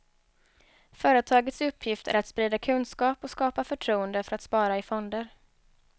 Företagets uppgift är att sprida kunskap och skapa förtroende för att spara i fonder.